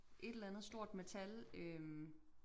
Et eller andet stort metal øh